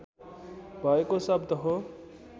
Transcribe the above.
भएको शब्द हो